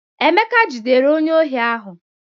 Emeka jidere onye ohi ahụ.